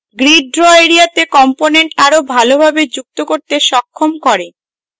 grid draw এরিয়াতে components আরো ভালোভাবে যুক্ত করতে সক্ষম করে